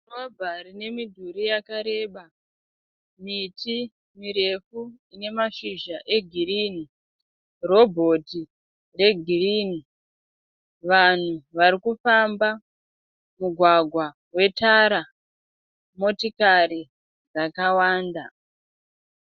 Kavha rine mudhuri yakareba. Miti mirefu inamashizja egirini. Robhoti regirini. Vanhu varikufamba mugwagwa wetara. Motokari dzakawanda.